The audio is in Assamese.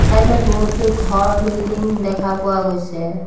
চাইড ত বহুতো ঘৰ বিল্ডিং দেখা পোৱা গৈছে।